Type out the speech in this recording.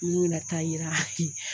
N ko bina taa yira